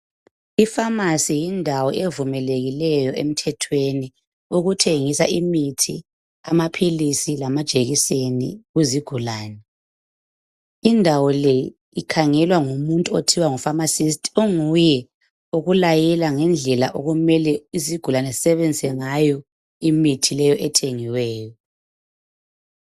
ifamasi yindawo evumelekileyo emthethweni ukuthengisa imuthi, amaphilizi, lamajekiseni kuzigulane. indawo le ikhangelwa ngumuntu okuthiwa ngufamasisti okunguye olayela izigulane ngendlela okumele zibenzise ngawo imithi leyi.